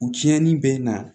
U tiɲɛni bɛ na